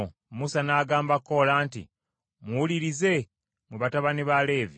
Musa n’agamba Koola nti, “Muwulirize, mmwe batabani ba Leevi!